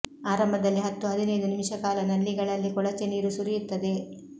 ಆರಂಭದಲ್ಲಿ ಹತ್ತು ಹದಿನೈದು ನಿಮಿಷ ಕಾಲ ನಲ್ಲಿಗಳಲ್ಲಿ ಕೊಳಚೆ ನೀರು ಸುರಿಯುತ್ತದೆ